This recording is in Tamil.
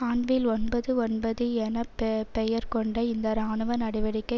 ஆன்வில் ஒன்பது ஒன்பது என ப பெயர் கொண்ட இந்த இராணுவ நடவடிக்கை